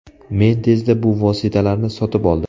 Men tezda bu vositalarni sotib oldim.